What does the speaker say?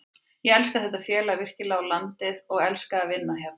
Ég elska þetta félag virkilega og landið og elska að vinna hérna.